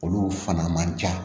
Olu fana man ca